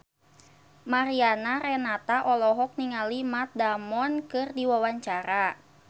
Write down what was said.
Mariana Renata olohok ningali Matt Damon keur diwawancara